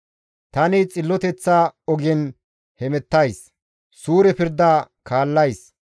Tani xilloteththa ogen hemettays; suure pirda kaallays.